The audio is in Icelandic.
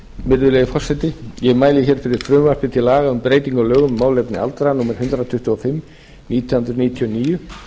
virðulegi forseti ég mæli hér fyrir frumvarp til laga um breytingu á lögum um málefni aldraðra númer hundrað tuttugu og fimm nítján hundruð níutíu og níu